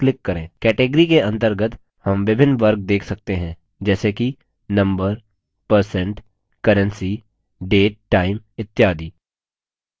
category के अंतर्गत हम विभिन्न वर्ग date सकते हैं जैसे कि number percent currency date time इत्यादि